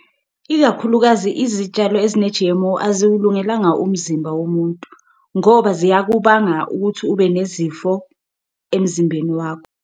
Ikakhulukazi izitshalo ezine-G_M_O aziwulungelanga umzimba womuntu ngoba ziyakubanga ukuthi ube nezifo emzimbeni wakho.